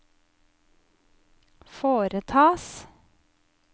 foretas